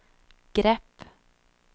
grepp